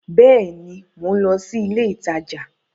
Bẹẹni, Mo n lọ si ilé ìtajà